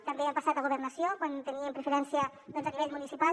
també han passat a governació quan teníem preferència a nivell municipal